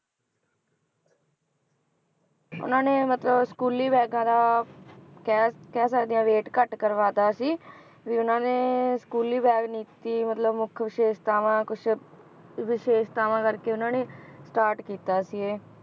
ਉਹਨਾਂ ਨੇ ਮਤਲਬ ਸਕੂਲੀ ਬੈਗਾਂ ਦਾ ਕਹਿ ਕਹਿ ਸਕਦੇ ਹਾਂ weight ਘੱਟ ਕਰਵਾ ਦਿੱਤਾ ਸੀ, ਵੀ ਉਹਨਾਂ ਨੇ ਸਕੂਲੀ bag ਨੀਤੀ ਮਤਲਬ ਮੁੱਖ ਵਿਸ਼ੇਸ਼ਤਾਵਾਂ ਕੁਛ ਵਿਸ਼ੇਸ਼ਤਾਵਾਂ ਕਰਕੇ ਉਹਨਾਂ ਨੇ start ਕੀਤਾ ਸੀ ਇਹ।